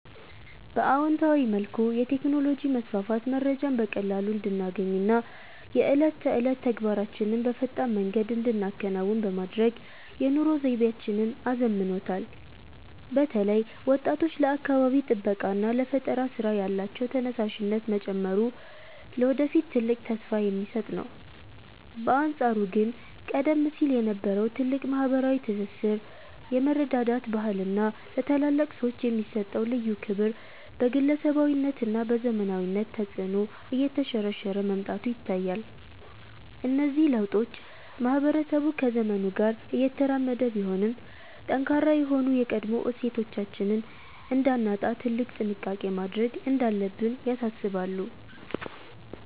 በአዎንታዊ መልኩ፣ የቴክኖሎጂ መስፋፋት መረጃን በቀላሉ እንድናገኝና የዕለት ተዕለት ተግባራችንን በፈጣን መንገድ እንድንከውን በማድረግ የኑሮ ዘይቤያችንን አዘምኖታል። በተለይ ወጣቶች ለአካባቢ ጥበቃና ለፈጠራ ሥራ ያላቸው ተነሳሽነት መጨመሩ ለወደፊት ትልቅ ተስፋ የሚሰጥ ነው። በአንጻሩ ግን ቀደም ሲል የነበረው ጥልቅ ማኅበራዊ ትስስር፣ የመረዳዳት ባህልና ለታላላቅ ሰዎች የሚሰጠው ልዩ ክብር በግለሰባዊነትና በዘመናዊነት ተጽዕኖ እየተሸረሸረ መምጣቱ ይታያል። እነዚህ ለውጦች ማኅበረሰቡ ከዘመኑ ጋር እየተራመደ ቢሆንም፣ ጠንካራ የሆኑ የቀድሞ እሴቶቻችንን እንዳናጣ ትልቅ ጥንቃቄ ማድረግ እንዳለብን ያሳስባሉ።